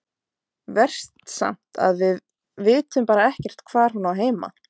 Verst samt að við vitum bara ekkert hvar hún á heima.